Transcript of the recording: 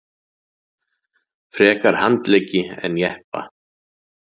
Frekar handleggi en jeppa